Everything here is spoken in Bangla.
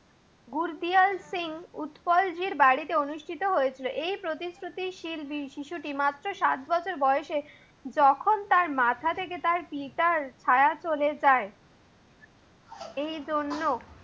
গুরজিয়ার সিং উৎপল জির বাড়িতে অনুষ্ঠিত হয়েছিল। এই প্রতিশ্রুতি শীল শিশুটি মাত্র সাত বছর বয়সে যখন তার মাথা থেকে তার পিতার ছায়া চলে যায়। এই জন্য